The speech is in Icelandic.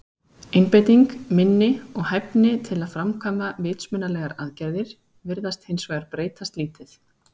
Einbeiting, minni og hæfni til að framkvæma vitsmunalegar aðgerðir virðast hins vegar breytast lítið.